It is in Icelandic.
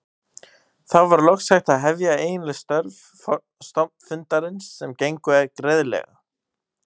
Þá var loks hægt að hefja eiginleg störf stofnfundarins sem gengu greiðlega.